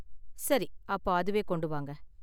சரி, அப்போ அதுவே கொண்டு வாங்க.